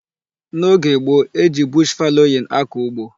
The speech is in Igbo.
N'oge gboo, e ji bush fallowing akọ ugbo.